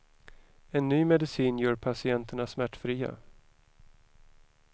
En ny medicin gör patienterna smärtfria.